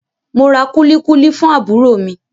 Mo ra kulikuli fún àbúrò mi.